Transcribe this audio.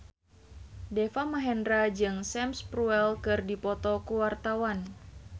Deva Mahendra jeung Sam Spruell keur dipoto ku wartawan